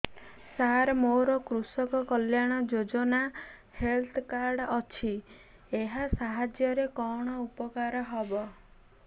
ସାର ମୋର କୃଷକ କଲ୍ୟାଣ ଯୋଜନା ହେଲ୍ଥ କାର୍ଡ ଅଛି ଏହା ସାହାଯ୍ୟ ରେ କଣ ଉପକାର ହବ